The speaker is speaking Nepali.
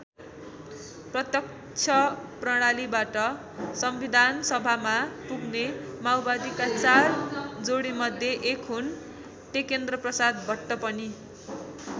प्रत्यक्ष प्रणालीबाट संविधानसभामा पुग्ने माओवादीका चार जोडीमध्ये एक हुन् टेकेन्द्रप्रसाद भट्ट पनि।